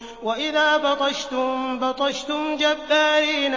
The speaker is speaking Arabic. وَإِذَا بَطَشْتُم بَطَشْتُمْ جَبَّارِينَ